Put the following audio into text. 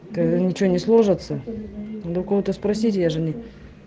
та ничего не сложится надо у кого-то спросить я же не